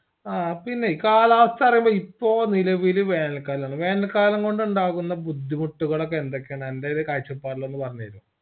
ആ പിന്നേയ് കാലാവസ്ഥ പറയുമ്പോ ഇപ്പൊ നിലവിൽ വേനൽക്കാലാണ് വേനൽ കാലം കൊണ്ടാകുന്ന ബുദ്ധിമുട്ടുകളൊകെയെന്തൊക്കെയാണ് അന്റെ ഒരു കായ്ച്ചപാടിലൊന്ന് പറഞ്ഞേര്ഒ